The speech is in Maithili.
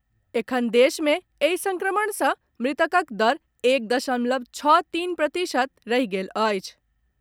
एखन देश मे एहि संक्रमण से मृतकक दर एक दशमलव छओ तीन प्रतिशत रहि गेल अछि।